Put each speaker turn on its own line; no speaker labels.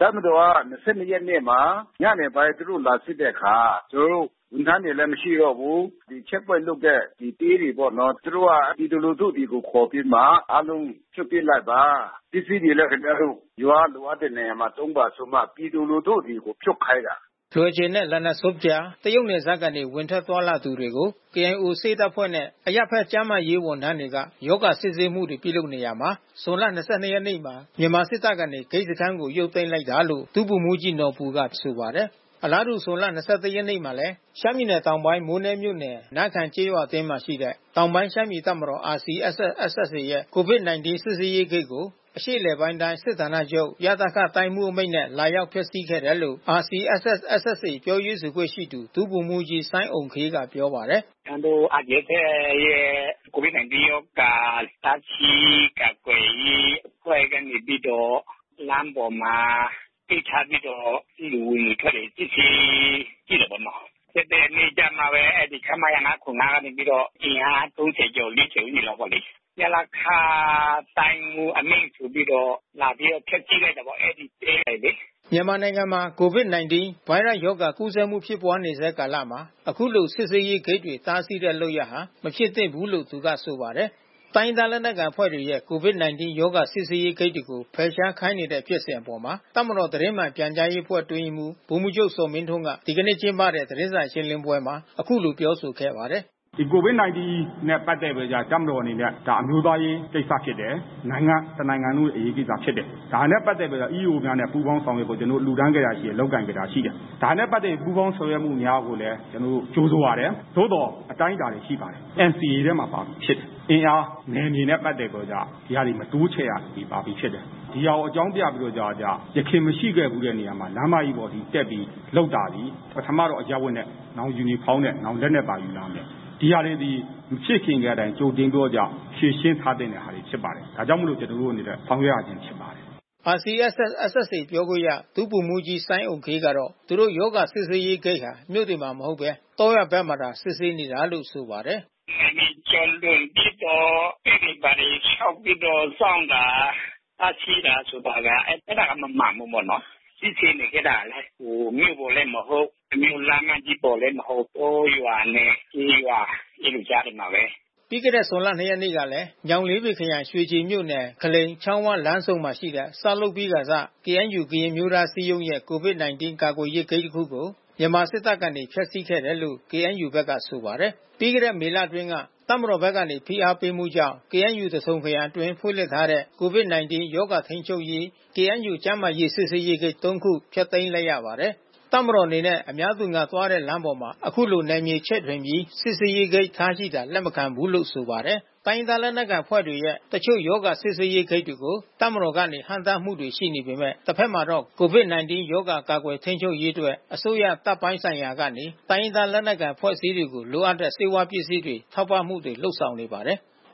တပ်မတော်က ၂၂ ရက်နေ့မှာ ညနေပိုင်းသူတို့ လာစစ်တဲ့အခါ ကျနော်တို့ ဝန်ထမ်းတွေလည်း မရှိတော့ဘူး။ ချက်ပွိုင့်လုပ်တဲ့တဲတွေပေါ့နော်... သူတို့ကပြည်သူလူထုကို ခေါ်ပြီးတော့မှ အားလုံးဖြုတ်ပစ်လိုက်ပါ။ ပစ္စည်းတွေလည်း ခင်ဗျားတို့ ရွာက လိုအပ်တဲ့နေရာမှာသုံးပါဆိုပြီးမှ ပြည်သူလူထုတွေကိုဖြုတ်ခိုင်းတာ။
” လွယ်ဂျယ်နဲ့ Lana Zup ကြား တရုတ်နယ်စပ်ကနေ ဝင်ထွက်သွားလာသူတွေကို KIO ဆေးတပ်ဖွဲ့နှင့် အရပ်ဘက် ကျန်းမာရေးဝန်ထမ်းတွေက ရောဂါစစ်ဆေးမှုတွေ ပြုလုပ်နေရာမှာ ဇွန်လ ၂၂ ရက်နေ့မှာ မြန်မာစစ်တပ်ကနေ ဂိတ်စခန်းကို ရုပ်သိမ်းလိုက်တာလို့ ဗိုလ်မှူးကြီးနော်ဘူက ဆိုပါတယ်။ အလားတူ ဇွန်လ ၂၁ ရက်နေ့မှာလည်း ရှမ်းပြည်နယ် မိုးနဲမြို့နယ် နားခန်ကျေးရွာအတွင်းရှိ တောင်ပိုင်းရှမ်းပြည်တပ်မတော် ရဲ့ COVID-19 စစ်ဆေးရေးဂိတ်ကို အရှေ့အလယ်ပိုင်းတိုင်း စစ်ဌာနချုပ် တိုင်းမှူးအမိန့်နဲ့ လာရောက်ဖျက်ဆီးခဲ့တယ်လို့ RCSS/SSA ပြောရေးဆိုခွင့်ရှိသူ ဒုဗိုလ်မှူးကြီး စိုင်းအုမ်ခေးကပြောပါတယ်။
“ကျနော်တို့ RCSS ရဲ့ COVID-19 ရောဂါ တားဆီးကာကွယ်ရေးအဖွဲ့ကနေပြီးတော့ လမ်းပေါ်မှာ ဂိတ်ချပြီးတော့ လူဝင်၊ လူထွက်တွေ စစ်ဆေးကြည့်တာပေါ့နော်။ ၂၁ ရက်နေ့ကျမှပဲ အဲဒီခမရ ၅၇၅ ကနေပြီးတော့ အင်အား ၃၀ ကျော်၊ ၄၀ လောက်ပေါ့လေ
။ ရလခတိုင်းမှူးအမိန့်ဆိုပြီးတော့
လာပြီးတော့ ဖျက်စီးလိုက်တာပေါ့ အဲဒီတဲတွေလေ။
” မြန်မာနိုင်ငံမှာ COVID-19 ဗိုင်းရပ်စ်ရောဂါ ကူးစက်မှု ဖြစ်ပွါးနေဆဲကာလမှာ အခုလိုစစ်ဆေးရေးဂိတ်တွေ တားဆီးတဲ့ လုပ်ရပ်ဟာ မဖြစ်သင့်ဘူးလို့ သူကဆိုပါတယ်။ တိုင်းရင်းသားလက်နက်ကိုင်အဖွဲ့တွေရဲ့ COVID-19 ရောဂါ စစ်ဆေးရေးဂိတ်ကို ဖယ်ရှားခိုင်းနေတဲ့ဖြစ်စဉ်အပေါ် တပ်မတော်သတင်းမှန်ပြန်ကြားအဖွဲ့အတွင်းရေးမှူး ဗိုလ်မှူးချုပ်ဇော်မင်းထွန်းက ဒီကနေ့ ကျင်းပတဲ့သတင်းစာရှင်းလင်းပွဲမှာ အခုလိုပြောဆိုခဲ့ပါတယ်။ “COVID-19 နဲ့ပက်သက်ပြီးတော့က တပ်မတော်အနေနဲ့ ဒါအမျိုးသားရေးကိစ္စဖြစ်တယ်။ နိုင်ငံ
တနိုင်ငံလုံးရဲ့အရေး ကိစ္စဖြစ်တယ်။ ဒါနဲ့ ပတ်သက်ပြီးတော့မှ EAO များနဲ့ ပူးပေါင်းဆောင်ရွက်ဖို့ ကျနော်တို့ လှူဒါန်းခဲ့တာရှိတယ်။ လုပ်ကိုင်ခဲ့တာ ရှိတယ်။ ဒါနဲ့ ပတ်သက်ပြီးပူးပေါင်းဆောင်ရွက်မှုများကိုလည်း ကျနော်တို့ ကြိုဆိုပါတယ်။ သို့သော် အတိုင်းအတာ တွေရှိပါတယ်။ NCA ထဲမှာ ပါပြီးဖြစ်ပါတယ်။ အင်အားနယ်မြေနဲ့ ပတ်သက်ပြီးတော့ကျ ဒီစာတွေ မတိုးချဲ့ရဘူး ပါပြီးဖြစ်တယ်။ ဒီဟာကို အကြောင်းပြပြီးတော့ကျ ယခင်မရှိခဲ့ဘူးတဲ့နေရာမှာ လမ်းမကြီးပေါ်တက်ပြီး လုပ်တာသည် ပထမတော့ အရပ်ဝတ်နဲ့ နောက်ယူနီဖေါင်းနဲ့ နောက်လက်နက်ပါယူလာမယ်။ သည်ဟာတွေသည် မဖြစ်ခင်ကတိုင် ကြိုတင်ပြီးတော့ က ဖြေရှင်းထားသင့်တဲ့ဟာတွေဖြစ်ပါတယ်။ ဒါကြောင့်မို့လို့ ကျနော်တို့အနေနဲ့ ဆောင်ရွက်ရခြင်းဖြစ်ပါတယ်
။” RCSS/SSA ပြောခွင့်ရ ဒုဗိုလ်မှူးကြီး စိုင်းအုမ်ခေးကတော့ သူတို့ရောဂါစစ်ဆေးရေးဂိတ်ဟာ မြို့တွေမှာ မဟုတ်ဘဲ တောရွာဘက်မှာသာ စစ်ဆေးနေတာလို့ ဆိုပါတယ်
။ “နယ်မြေကျော်လွန်ပြီးတော့ ဂိတ်တွေ၊ ဘာတွေဆောက်ပြီးတော့စောင့်တာ တားဆီးတာဆိုတာက အဲတာကမမှန်ဘူးပေါ့နော်။ စစ်ဆေးတဲ့နေရာကလည်း မြို့ပေါ်လည်း မဟုတ်၊ လမ်းမကြီးပေါ်မှာလည်း မဟုတ်၊ တောရွာနဲ့ ကျေးရွာ အဲဒီကြားတွေမှာပဲ။”
ပြီးခဲ့တဲ့ ဇွန်လ ၂ ရက်နေ့ကလဲ ညောင်လေးပင်ခရိုင် ရွှေကျင် မြို့နယ် ခလိန်-ချောင်းဝလမ်းဆုံရှိ ဆောက်လုပ်ပြီးခါစ KNU-ကရင်အမျိုးသားအစည်းအရုံးရဲ့ COVID-19 ကာကွယ်ရေးဂိတ်တစ်ခုကို မြန်မာစစ်တပ်ဘက်က ဖျက်စီးခဲ့တယ်လို့ KNU ဘက်က ဆိုပါတယ်။ ပြီးခဲ့တဲ့မေလအတွင်းက တပ်မတော်ဘက်မှ ဖိအားပေးမှုကြောင့် KNU သထုံခရိုင် အတွင်းဖွင့် လှစ်ထားတဲ့ COVID-19 ကာကွယ်ထိန်းချုပ်နိုင်ရေး KNU ကျန်းမာရေးစစ်ဆေးရေးဂိတ် သုံး ခု ဖျက်သိမ်းလိုက်ရပါတယ်။ တပ်မတော်အနေနဲ့ အများသူငါသွားတဲ့ လမ်းပေါ် အခုလို နယ်မြေချဲ့ထွင်ပြီး စစ်ဆေးရေးဂိတ်ထားရှိတာ လက်မခံဘူးလို့ ဆိုပါတယ်။ တိုင်းရင်းသားလက်နက်ကိုင်အဖွဲ့တွေရဲ့ တချို့ရောဂါစစ်ဆေးရေးဂိတ်တွေကို တပ်မတော်ဘက်ကနေ ဟန့်တားမှုရှိနေပေမဲ့ တဘက်မှာတော့ COVID-19 ရောဂါ ကာကွယ်ထိန်းချုပ်ရေးအတွက် အစိုးရ၊ တပ်ပိုင်းဆိုင်ရာကနေ တိုင်းရင်းသား လက်နက်ကိုင်အဖွဲ့အစည်းတွေကို လိုအပ်တဲ့ ဆေးဝါးပစ္စည်းတွေ ထောက်ပံ့မှု လုပ်ဆောင်နေပါတယ်။